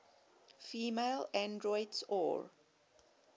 female androids or